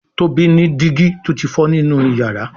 Tóbi ní digi tó tí fọ nínú iyàrá.